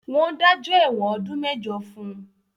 Wọ́n dájọ́ ẹ̀wọ̀n ọdún mẹ́jọ fún